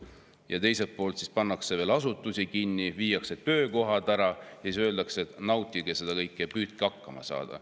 Ja teiselt poolt siis pannakse asutusi kinni, viiakse töökohad ära, ja siis öeldakse, et nautige seda kõike ja püüdke hakkama saada.